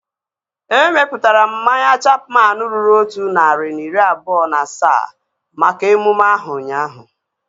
Emeputara m mmanya Chapman ruru otu narị na iri abụọ na asaa maka emume ahu ụnyaahụ